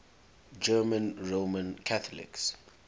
german roman catholics